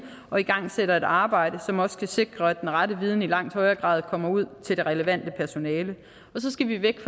og igangsætter et arbejde som også kan sikre at den rette viden i langt højere grad kommer ud til det relevante personale så skal vi væk